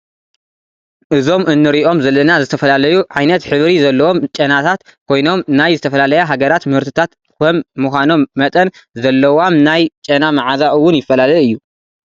እዞም እንሪኦም ዘለና ዝተፈላለዩ ዓይነት ሕብሪ ዘለዎም ጨናታት ኮይኖም ናይ ዝተፈላለያ ሃገራት ምህርትታት ከም ምዃኖም መጠን ዘለዋም ናይ ጨና መዓዛ እውን ይፈላለ እዩ::